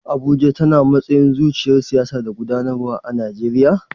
Shin Abuja tana matsayin zuciyar siyasa da gudanarwa a Najeriya?